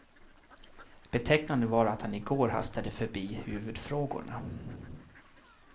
Betecknande var att han i går hastade förbi huvudfrågorna.